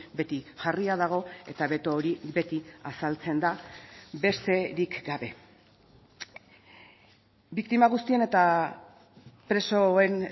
beti jarria dago eta beto hori beti azaltzen da besterik gabe biktima guztien eta presoen